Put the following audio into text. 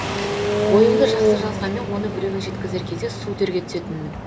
ойымды жақсы жазғанмен оны біреуге жеткізер кезде су терге түсетінмін